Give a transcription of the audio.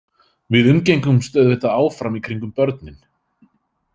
Við umgengumst auðvitað áfram í kringum börnin.